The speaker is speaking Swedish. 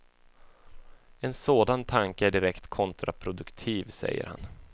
En sådan tanke är direkt kontraproduktiv, säger han.